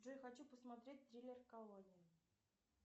джой хочу посмотреть триллер колония